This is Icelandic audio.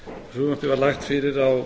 frumvarpið var lagt fyrir á